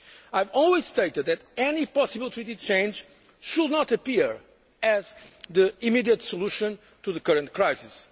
I have always stated that any possible Treaty change should not be seen as the immediate solution to the current crisis.